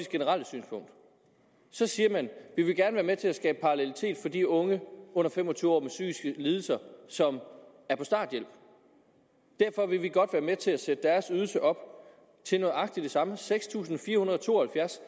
generelle synspunkt så siger man vi vil gerne være med til at skabe parallelitet for de unge under fem og tyve år med psykiske lidelser som er på starthjælp derfor vil vi godt være med til at sætte deres ydelse op til nøjagtig det samme nemlig seks tusind fire hundrede og to og halvfjerds